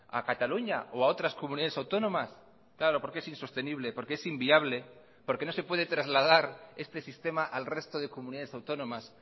a cataluña o a otras comunidades autónomas claro porque es insostenible porque es inviable porque no se puede trasladar este sistema al resto de comunidades autónomas